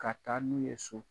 Ka taa n'u ye so.